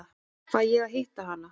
Fæ ég að hitta hana?